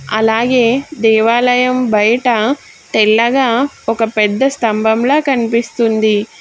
అలాగే దేవాలయం బయట తెల్లగా ఒక పెద్ద స్తంభంలా కనిపిస్తుంది.